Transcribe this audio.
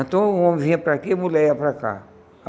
Então o homem vinha para aqui e a mulher ia para cá.